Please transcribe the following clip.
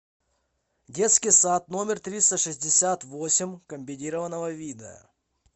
детский сад номер триста шестьдесят восемь комбинированного вида